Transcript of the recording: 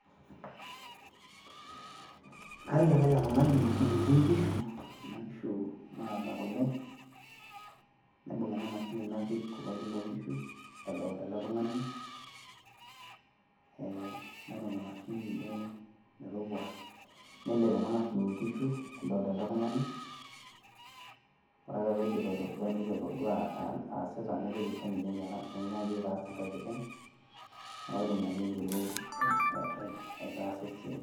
karik ake ele tung'ani enetii inkishu kuna kishu naata kule napik ena mashini kuloki loo nkishu nairony ena mashini metopua, nelep ena mashini inkishu edoolta ele tung'ani ore ake pee aidip aitodua , naitoki aisho ninye menyaki alepie enkae kiteng pee eyiolou aitaasa esiai.